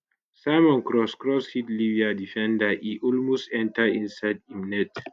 simon cross cross hit libya defender e almost enta inside im net